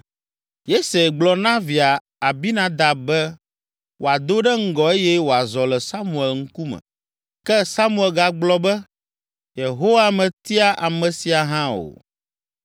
Yese gblɔ na via Abinadab be wòado ɖe ŋgɔ eye wòazɔ le Samuel ŋkume. Ke Samuel gablɔ be “Yehowa metia ame sia hã o.”